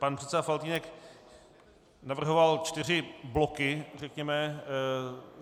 Pan předseda Faltýnek navrhoval čtyři bloky, řekněme.